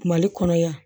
Mali kɔnɔ yan